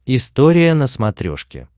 история на смотрешке